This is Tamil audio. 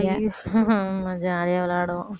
ஆமா jolly யா விளையாடுவோம்